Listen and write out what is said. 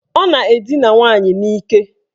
Ọ na-edina nwaanyị n'ike.